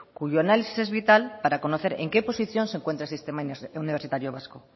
cuyo análisis es vital para conocer en qué posición se encuentra el sistema universitario vasco